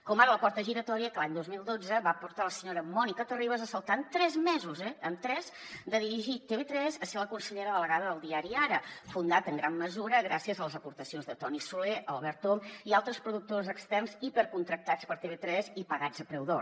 com ara la porta giratòria que l’any dos mil dotze va portar la senyora mònica terribas a saltar en tres mesos en tres de dirigir tv3 a ser la consellera delegada del diari ara fundat en gran mesura gràcies a les aportacions de toni soler albert om i altres productors externs hipercontractats per tv3 i pagats a preu d’or